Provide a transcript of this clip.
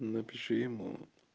напиши ему